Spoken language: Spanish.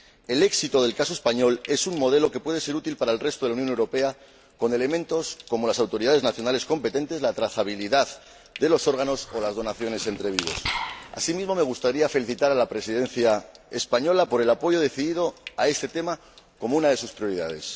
El éxito del caso español es un modelo que puede ser útil para el resto de la Unión Europea con elementos como las autoridades nacionales competentes, la trazabilidad de los órganos o las donaciones entre vivos. Asimismo, me gustaría felicitar a la Presidencia española por el apoyo decidido a este tema como una de sus prioridades.